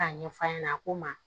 K'a ɲɛf'a ɲɛna a ko n ma